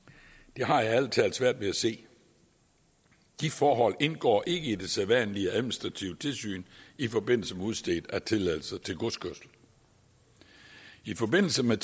det har jeg ærlig talt svært ved at se de forhold indgår ikke i det sædvanlige administrative tilsyn i forbindelse med udstedelse af tilladelse til godskørsel i forbindelse med